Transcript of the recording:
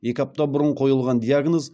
екі апта бұрын қойылған диагноз